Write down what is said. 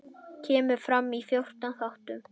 Kemur fram í fjórum þáttum.